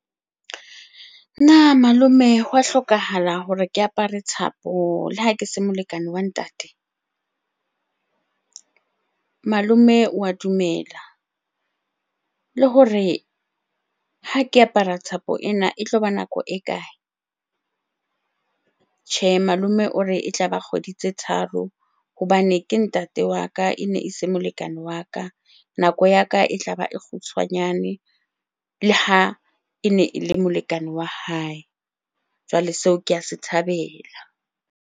Na malome hwa hlokahala hore ke apare thapo le ha ke se molekane wa ntate? Malome wa dumela le hore ha ke apara thapo ena e tloba nako e kae? Tjhe, malome o re e tlaba kgwedi tse tharo hobane ke ntate wa ka, ene e se molekane wa ka. Nako ya ka e tlaba e kgutshwanyane le ha ene e le molekane wa hae. Jwale seo ke a se thabela.